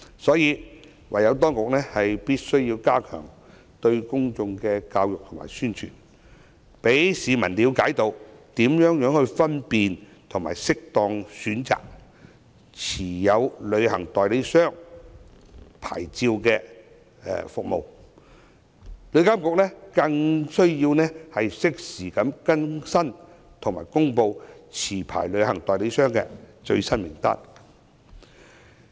所以，當局必須加強公眾教育和宣傳，讓市民了解如何分辨及適當選擇持牌旅行代理商，旅監局更需要適時更新及公布持牌旅行代理商的最新名單。